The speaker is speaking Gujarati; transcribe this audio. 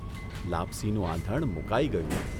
લાપસીનું આંધણ મૂકાઇ ગયું.